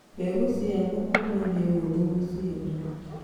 Mbegũ cia thũkũma nĩũhũthũ gũciona.